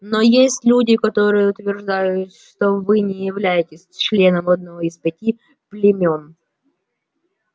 но есть люди которые утверждают что вы не являетесь членом одного из пяти племён